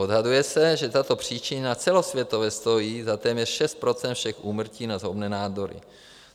Odhaduje se, že tato příčina celosvětově stojí za téměř 6 % všech úmrtí na zhoubné nádory.